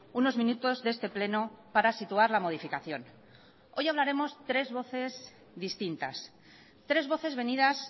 unos minutos de este pleno para situar la modificación hoy hablaremos tres voces distintas tres voces venidas